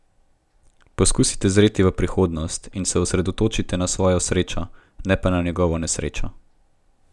Poskusite zreti v prihodnost in se osredotočite na svojo srečo, ne pa na njegovo nesrečo.